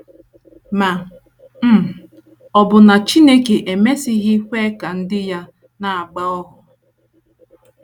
Ma um ọ̀ bụ na Chineke emesịghị kwe ka ndị ya na - agba ohu?